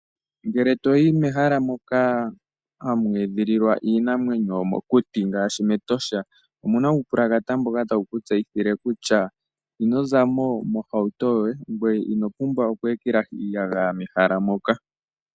Ngele to yi mehala moka hamu edhililwa iinamwenyo yomokuti ngaashi mEtosha omu na uupulakata mboka tawu ku tseyithile kutya ino za mo mohauto yoye, ngoye ino pumbwa oku ekelahi iiyagaya mehala moka.